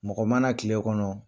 Mɔgɔ mana tile kɔnɔ